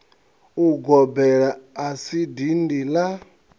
ugobela a si dindi la